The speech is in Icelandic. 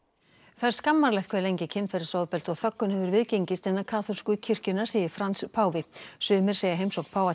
það er skammarlegt hve lengi kynferðisofbeldi og þöggun hefur viðgengist innan kaþólsku kirkjunnar segir Frans páfi sumir segja heimsókn páfa